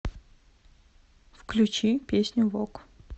включи песню вок